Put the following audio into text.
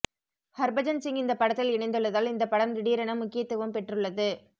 ஹர்பஜன்சிங் இந்த படத்தில் இணைந்துள்ளதால் இந்த படம் திடீரென முக்கியத்துவம் பெற்றுள்ளது